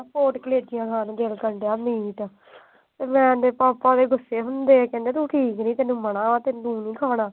ਖਾਣ ਨੂੰ ਦਿਲ ਕਰਦਾ ਮੇਰਾ ਤਾਂ। ਤੇ ਪਾਪਾ ਇਹਦੇ ਗੁੱਸੇ ਏ ਕਹਿੰਦੇ ਤੂੰ ਠੀਕ ਨੀ। ਤੈਨੂੰ ਮਨ੍ਹਾ ਏ। ਤੈਨੂੰ ਨੀ ਖਵਾਉਣਾ।